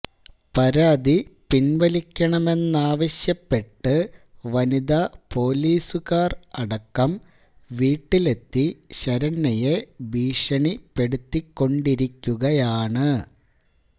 പരാതി പിൻവലിക്കണമെന്നാവശ്യപ്പെട്ട് വനിത പൊലീസുക്കാർ അടക്കം വീട്ടിലെത്തി ശരണ്യയെ ഭീഷണിപ്പെടുത്തിക്കൊണ്ടിരിക്കുകയാണ്